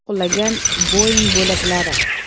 Qulagan “Boing” bo‘laklari.